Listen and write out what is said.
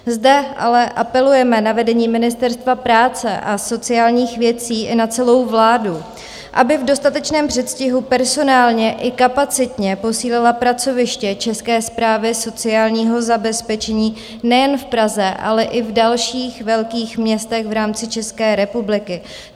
Zde ale apelujeme na vedení Ministerstva práce a sociálních věcí i na celou vládu, aby v dostatečném předstihu personálně i kapacitně posílila pracoviště České správy sociálního zabezpečení nejen v Praze, ale i v dalších velkých městech v rámci České republiky.